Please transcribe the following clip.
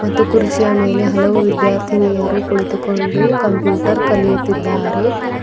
ಮತ್ತು ಕುರ್ಚಿಯ ಮೇಲೆ ಹಲವು ವಿದ್ಯಾರ್ಥಿನಿಯರು ಕುಳಿತುಕೊಂಡು ಕಂಪ್ಯೂಟರ್ ಕಲಿಯುತಿದ್ದಾರೆ.